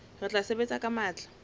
re tla sebetsa ka matla